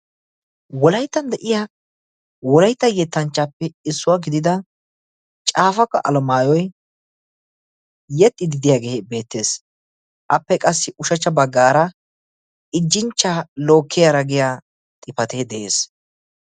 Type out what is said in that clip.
Wolayttan de'iya woraytta yettanchchaappe issuwaa gidida caafaka alamaayoy yexxididiyaagee beettees. appe qassi ushachcha baggaara ijjinchcha lookkiyaara giya xifatee de'ees.